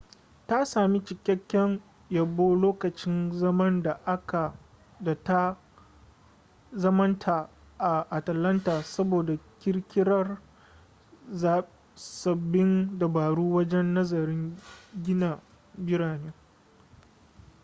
ta sami cikakken yabo lokacin zaman ta a atalanta saboda kirkirar sabbin dabaru wajen nazarin gina birane